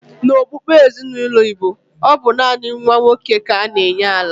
N'okpukpe ezinaụlọ Igbo, ọ bụ naanị nwa nwoke ka a na-enye ala.